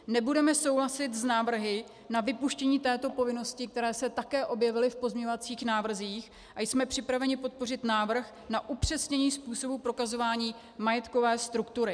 Nebudeme souhlasit s návrhy na vypuštění této povinnosti, které se také objevily v pozměňovacích návrzích, a jsme připraveni podpořit návrh na upřesnění způsobu prokazování majetkové struktury.